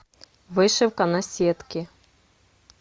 вышивка на сетке